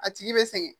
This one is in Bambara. A tigi bɛ sɛgɛn